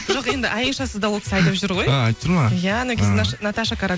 жоқ енді айшасыз да ол кісі айтып жүр ғой а айтып жүр ме иә анау кезде наташа